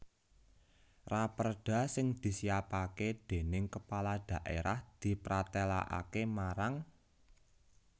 Raperda sing disiapaké déning Kepala Dhaérah dipratélakaké marang